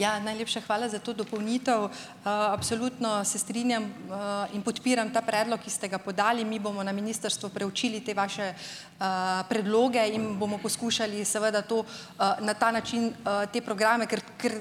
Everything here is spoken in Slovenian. Ja, najlepša hvala za to dopolnitev. Absolutno se strinjam in podpiram ta predlog, ki ste ga podali. Mi bomo na ministrstvu preučili te vaše predloge in bomo poskušali seveda to, na ta način, te programe, ker, ker